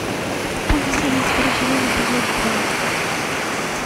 в поле зрения второй сезон эпизод два